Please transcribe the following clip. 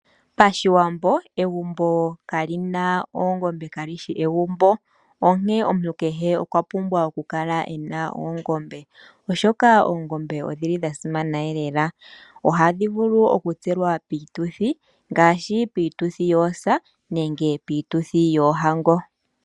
Pashiwambo egumbo kaa li na oongombe kalishi egumbo, onkene omuntu kehe okwapumbwa okukala ena oongombe, oshoka oongombe odhi li dhasimana lela ohadhi vulu okutselwa piituthi, piituthi ngaashi yosa osho wo piituthi yoohango.